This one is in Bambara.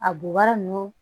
A bubaga ninnu